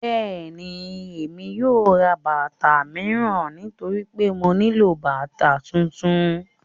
Bẹ́ẹ̀ni, Emi yóò rá bátà miíran nítorí pé mó nilọ bátà tuntun.